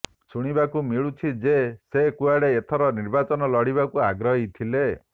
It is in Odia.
ଶୁଣିବାକୁ ମିଳୁଛି ଯେ ସେ କୁଆଡ଼େ ଏଥର ନିର୍ବାଚନ ଲଢ଼ିବାକୁ ଆଗ୍ରହୀ ଥିଲେ